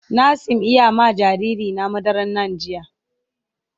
Na sim iya ma jariri na madaran NAN jiya.